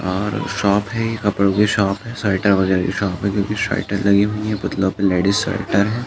और शॉप है ये कपड़ो की शॉप है। स्वेटर वगेरो की शॉप है क्युकी स्वेटर लगी हुई हैं। पुतलो पे लेडिस स्वेटर है।